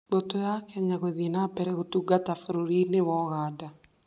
Mbũtũ ya Kenya gũthiĩ na mbere gũtungata bũrũri-inĩ wa Ũganda.